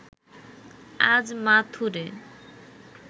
আজ মাথুরে